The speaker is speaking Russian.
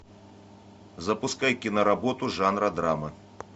запускай киноработу жанра драма